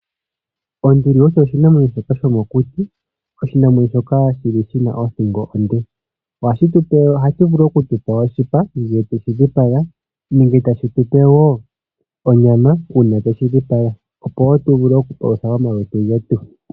Onduli oyo oshinamwenyo shoka shomokuti, oshinamwenyo shoka shi na othingo onde. Ohashi vulu oku tu pa oshipa ngele sha dhipagwa nenge tashi tu pe wo onyama uuna twe shi dhipaga, opo tu vule okupalutha omalutu getu.